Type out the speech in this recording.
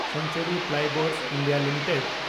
Century Plyboards (India) limited